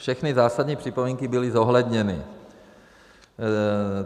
Všechny zásadní připomínky byly zohledněny.